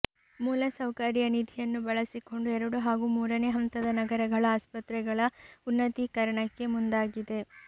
ಮೂಲಸೌಕರ್ಯ ನಿಧಿಯನ್ನು ಬಳಸಿಕೊಂಡು ಎರಡು ಹಾಗೂ ಮೂರನೇ ಹಂತದ ನಗರಗಳ ಆಸ್ಪತೆಗಳ ಉನ್ನತೀಕರಣಕ್ಕೆ ಮುಂದಾಗಿದೆ